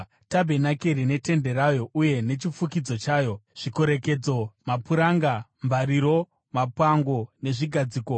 “tabhenakeri netende rayo uye nechifukidzo chayo, zvikorekedzo, mapuranga, mbariro, mapango nezvigadziko;